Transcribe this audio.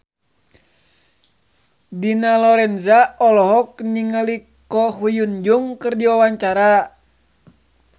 Dina Lorenza olohok ningali Ko Hyun Jung keur diwawancara